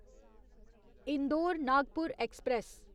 Indore Nagpur express